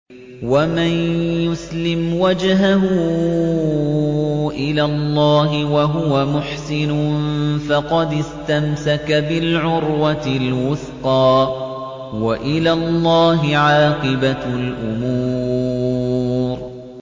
۞ وَمَن يُسْلِمْ وَجْهَهُ إِلَى اللَّهِ وَهُوَ مُحْسِنٌ فَقَدِ اسْتَمْسَكَ بِالْعُرْوَةِ الْوُثْقَىٰ ۗ وَإِلَى اللَّهِ عَاقِبَةُ الْأُمُورِ